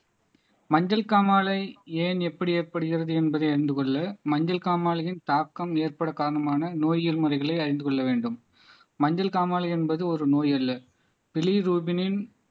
மஞ்சள் காமாலை ஏன் எப்படி ஏற்படுகிறது என்பதை அறிந்து கொள்ள மஞ்சள் காமாலையின் தாக்கம் ஏற்பட காரணமான நோய்கள் முறைகளை அறிந்து கொள்ள வேண்டும் மஞ்சள் காமாலை என்பது ஒரு நோய் அல்ல